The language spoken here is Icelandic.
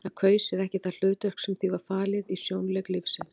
Það kaus sér ekki það hlutverk sem því var falið í sjónleik lífsins.